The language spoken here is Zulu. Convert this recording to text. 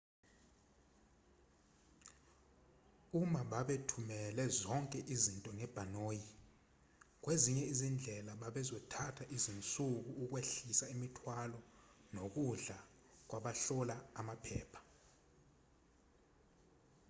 uma bebathumele zonke izinto ngebhanoyi kwezinye izindlela bekuzothatha izinsuku ukwehlisa imithwalo nokudlula kwabahlola amaphepha